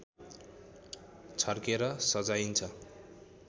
छर्केर सजाइन्छ